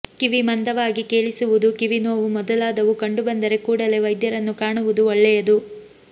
ಕಿವಿ ಮಂದವಾಗಿ ಕೇಳಿಸುವುದು ಕಿವಿ ನೋವು ಮೊದಲಾದವು ಕಂಡು ಬಂದರೆ ಕೂಡಲೇ ವೈದ್ಯರನ್ನು ಕಾಣುವುದು ಒಳ್ಳೆಯದು